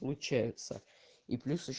получается и плюс ещ